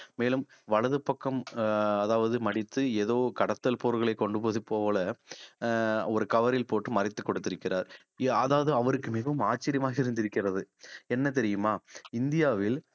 மேலும் வலது பக்கம் அஹ் அதாவது மடித்து ஏதோ கடத்தல் பொருள்களை கொடுப்பது போல அஹ் ஒரு cover ல் போட்டு மறைத்து கொடுத்திருக்கிறார் அதாவது அவருக்கு மிகவும் ஆச்சரியமாக இருந்திருக்கிறது என்ன தெரியுமா இந்தியாவில்